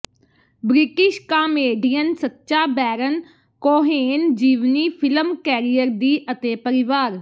British comedian Sacha Baron Cohen ਜੀਵਨੀ film career ਦੀ ਅਤੇ ਪਰਿਵਾਰ